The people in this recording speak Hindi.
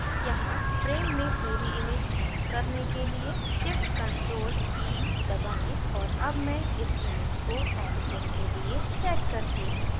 यहाँ frame में पूरी image प्राप्त करने के लिए shift + ctrl + e दबाएँ और अब मैं इस image को editing के लिए set करती हूँ